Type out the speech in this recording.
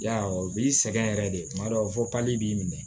Yarɔ b'i sɛgɛn yɛrɛ de kuma dɔw la fɔ pali b'i minɛ